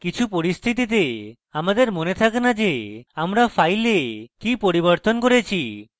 কিছু পরিস্থিতিতে আমাদের মনে থাকে in যে আমরা files কি পরিবর্তন করেছি